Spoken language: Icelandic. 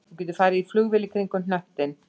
Þú getur farið í flugvél kringum hnöttinn